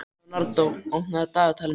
Leonardó, opnaðu dagatalið mitt.